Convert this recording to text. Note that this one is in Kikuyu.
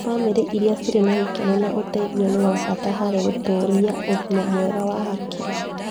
Bamĩrĩ irĩa cirĩ na gĩkeno na ũteithio nĩ wa bata harĩ gũtũũria ũgima mwega wa hakiri.